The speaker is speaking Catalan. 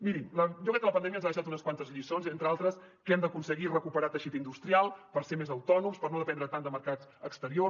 mirin jo crec que la pandèmia ens ha deixat unes quantes lliçons entre altres que hem d’aconseguir recuperar teixit industrial per ser més autònoms per no dependre tant de mercats exteriors